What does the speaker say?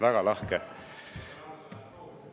Väga lahke!